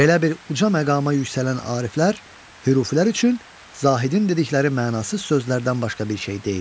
Belə bir uca məqama yüksələn ariflər hürufilər üçün zahidin dedikləri mənasız sözlərdən başqa bir şey deyildirlər.